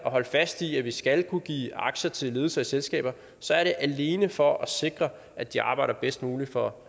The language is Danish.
at holde fast i at vi skal kunne give aktier til ledelser i selskaber så er det alene for at sikre at de arbejder bedst muligt for